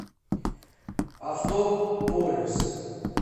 авто полюс